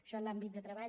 això en l’àmbit de treball